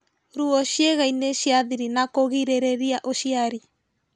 Ruo ciĩgainĩ cia thiri na kũgirĩrĩria ũciari